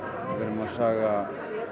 að saga